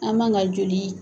An man ka joli